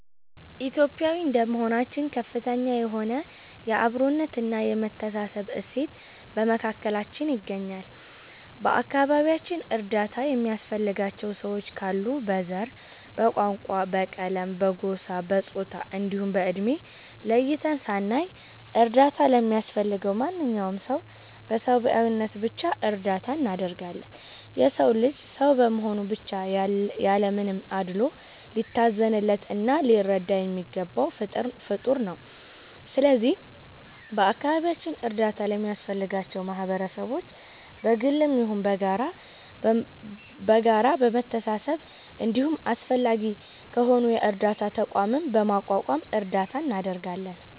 ኢትዮጲያዊ እንደመሆናችን ከፍተኛ የሆነ የ አብሮነት እና የመተሳሰብ እሴት በመካከላችን ይገኛል። በ አከባቢያችን እርዳታ የሚያስፈልጋቸው ሰዎች ካሉ በ ዘር፣ በቋንቋ፣ በቀለም፣ በጎሳ፣ በፆታ እንዲሁም በ እድሜ ለይተን ሳናይ እርዳታ ለሚያስፈልገው ማንኛውም ሰው በ ሰብዓዊነት ብቻ እርዳታ እናደርጋለን። የ ሰው ልጅ ሰው በመሆኑ ብቻ ያለ ምንም አድሎ ሊታዘንለት እና ሊረዳ የሚገባው ፍጠር ነው። ስለዚህ በ አካባቢያችን እርዳታ ለሚያስፈልጋቸው ማህበረሰቦች በ ግልም ይሁን በጋራ በመሰባሰብ እንዲሁም አስፈላጊ ከሆነ የ እርዳታ ተቋምም በማቋቋም እርዳታ እናደርጋለን።